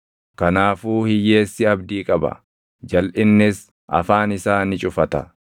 Kanaafuu hiyyeessi abdii qaba; jalʼinnis afaan isaa ni cufata.